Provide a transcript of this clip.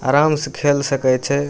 आराम से खेल सके छै।